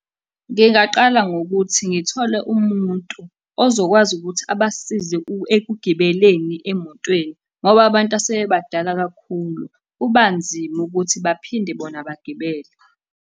Ngingaqala ngokuthi ngithole umuntu ozokwazi ukuthi abasize ekugibeleni emotweni, ngoba abantu asebebadala kakhulu kuba nzima ukuthi baphinde bona bagibele.